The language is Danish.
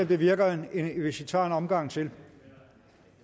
det virker hvis vi tager en omgang til